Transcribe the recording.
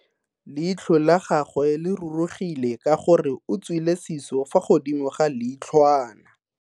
Leitlho la gagwe le rurugile ka gore o tswile siso fa godimo ga leitlhwana.